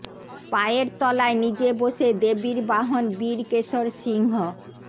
পায়ের তলায় নিজে বসে দেবীর বাহন বীর কেশর সিংহ